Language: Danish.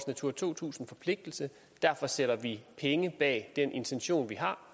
natura to tusind forpligtelse og derfor sætter vi penge bag den intention vi har